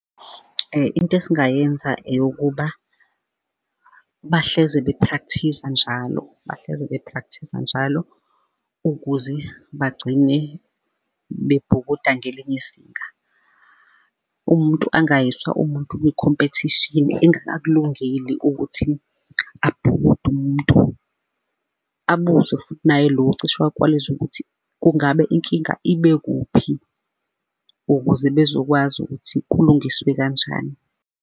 Into esingayenza eyokuba, bahlezi bephrakthiza njalo, bahlezi bephrakthiza njalo, ukuze bagcine bebhukuda ngelinye izinga. Umuntu angayiswa umuntu kwikhompethishini engakakulungeli ukuthi abhukude umuntu. Abuzwe futhi naye lo ocishe wakwaliza ukuthi kungabe inkinga ibekuphi? Ukuze bezokwazi ukuthi kulungiswe kanjani.